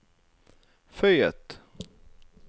føyet